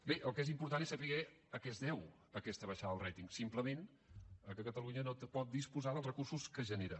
bé el que és important és saber a què es deu aquesta baixada del rating simplement al fet que catalunya no pot disposar dels recursos que genera